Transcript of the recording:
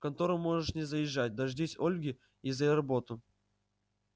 в контору можешь не заезжать дождись ольги и за работу